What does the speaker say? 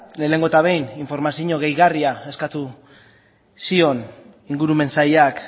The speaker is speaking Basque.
lehenengo eta behin informazio gehigarria eskatu zion ingurumen sailak